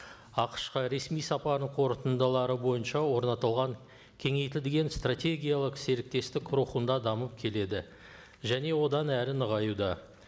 ақш қа ресми сапарының қорытындылары бойынша орнатылған кеңейтілген стратегиялық серіктестік рухында дамып келеді және одан әрі нығаюда